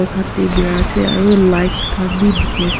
ase aru lights khan bhi dekhi ase.